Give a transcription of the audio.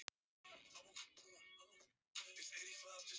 Hann er með gular tennur, örugglega andfúll sagði Magga.